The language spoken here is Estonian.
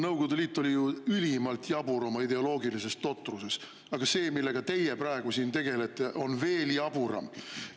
Nõukogude Liit oli ju ülimalt jabur oma ideoloogilises totruses, aga see, millega teie praegu siin tegelete, on veel jaburam.